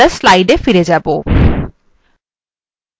এখন আমরা slides we আবার ফিরে যাব